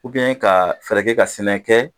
ka fɛɛrɛ kɛ ka sɛnɛ kɛ